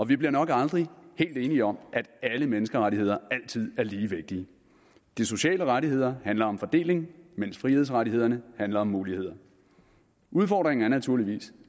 vi bliver nok aldrig helt enige om at alle menneskerettigheder altid er lige vigtige de sociale rettigheder handler om fordeling mens frihedsrettighederne handler om muligheder udfordringen er naturligvis